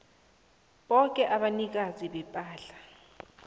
boke abanikazi bepahla